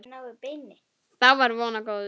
Þá var von á góðu.